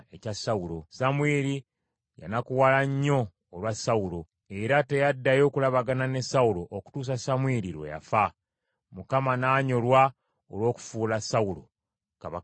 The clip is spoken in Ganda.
Samwiri yanakuwala nnyo olwa Sawulo, era teyaddayo kulabagana ne Sawulo okutuusa Samwiri lwe yafa. Mukama n’anyolwa olw’okufuula Sawulo kabaka wa Isirayiri.